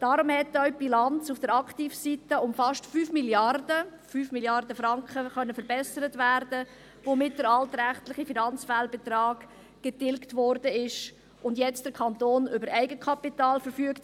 Darum hat auch die Bilanz auf der Aktivseite um fast 5 Mrd. Franken verbessert werden können, womit der altrechtliche Finanzfehlbetrag getilgt wurde und der Kanton jetzt über Eigenkapital verfügt.